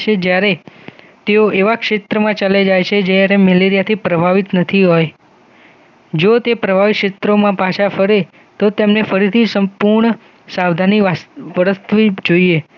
જ્યારે તેઓ એવા ક્ષેત્રમાં ચલે જાય છે જયારે મેલેરિયાથી પ્રભાવિત નથી હોય જો તે પ્રભાવિત ક્ષેત્રોમાં પાછા ફરે તો તેમને ફરીથી સંપૂર્ણ સાવધાની બરસવી જોઇએ